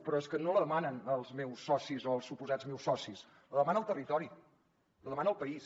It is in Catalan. però és que no la demanen els meus socis o els suposats meus socis la demana el territori la demana el país